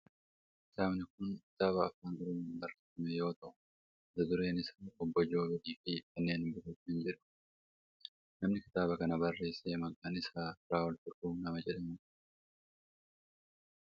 Kitaabni kun kitaaba afaan oromoon barreeffame yoo ta'u mata dureen isaa Obboo Joobir fi kanneen biroo kan jedhu dha. Namni kitaaba kana barreesse maqaan isaa Firaa'ol Fiqruu nama jedhamu dha.